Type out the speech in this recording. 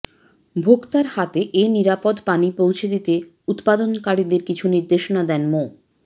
ভোক্তার হাতে এ নিরাপদ পানি পৌঁছে দিতে উৎপাদনকারীদের কিছু নির্দেশনা দেন মো